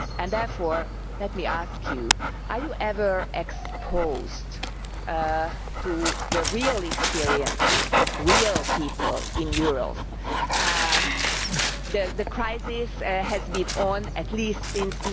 Therefore let me ask you whether you are ever exposed to the real experiences of real people in Europe. The crisis has been going on at least since